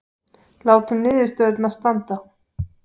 Látum niðurstöðurnar standa